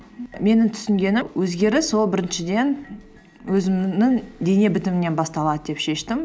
менің түсінгенім өзгеріс ол біріншіден өзімнің дене бітімімнен басталады деп шештім